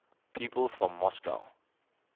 people from moscow